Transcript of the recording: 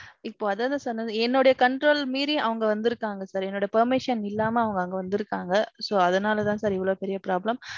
இப்போ அதான் sir சொன்னது என்னோடைய control மீறி அவங்க வந்திருக்காங்க sir. என்னோட permission இல்லாம அவங்க அங்க வந்திருக்காங்க. So, அதனால தான் sir இவ்வளவு பெரிய problem.